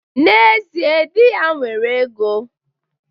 N'ezie, di ya nwere ego.